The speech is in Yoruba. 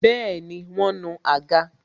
Bẹẹni, wọn nu àga